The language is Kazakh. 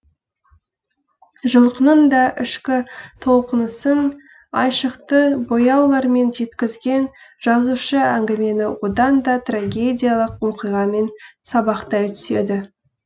жылқының да ішкі толқынысын айшықты бояулармен жеткізген жазушы әңгімені одан да трагедиялық оқиғамен сабақтай түседі